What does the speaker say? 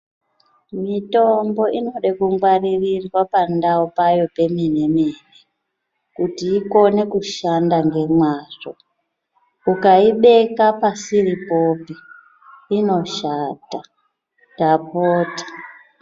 Mitombo inoda kungwaririwa pandau payo pemenemene kuti ikone kushanda ngemwazvo ukaibeka pasiripopi inoshata ndapota .